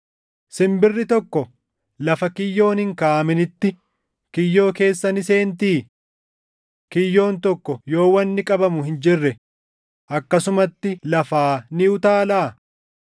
Simbirri tokko lafa kiyyoon hin kaaʼaminitti kiyyoo keessa ni seentii? Kiyyoon tokko yoo wanni qabamu hin jirre akkasumatti lafaa ni utaalaa?